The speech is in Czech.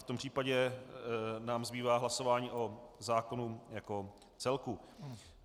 V tom případě nám zbývá hlasování o zákonu jako celku.